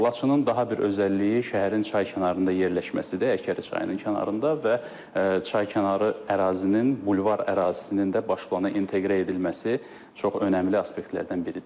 Laçının daha bir özəlliyi şəhərin çay kənarında yerləşməsidir, Həkəri çayının kənarında və çaykənarı ərazinin, bulvar ərazisinin də baş plana inteqrə edilməsi çox önəmli aspektlərdən biridir.